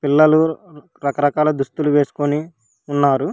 పిల్లలు రకరకాల దుస్తులు వేసుకొని ఉన్నారు.